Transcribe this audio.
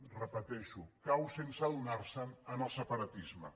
ho repeteixo cau sense adonar se’n en el separatisme